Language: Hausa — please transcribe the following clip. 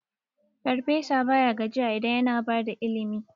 Farfesa baya gajiya idan yana bada ilimi.